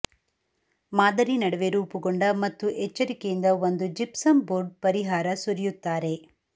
ಮಾದರಿ ನಡುವೆ ರೂಪುಗೊಂಡ ಮತ್ತು ಎಚ್ಚರಿಕೆಯಿಂದ ಒಂದು ಜಿಪ್ಸಮ್ ಬೋರ್ಡ್ ಪರಿಹಾರ ಸುರಿಯುತ್ತಾರೆ